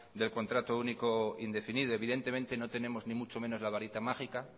del contrato único indefinido evidentemente no tenemos ni mucho menos la varita mágica